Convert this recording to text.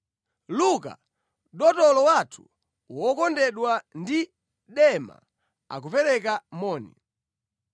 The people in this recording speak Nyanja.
Luka, dotolo wathu wokondedwa ndi Dema, akupereka moni.